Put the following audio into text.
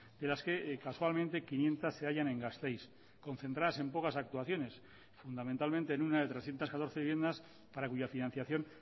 de las que casualmente quinientos se hallan en gasteiz concentradas en pocas actuaciones fundamentalmente en una de trescientos catorce viviendas para cuya financiación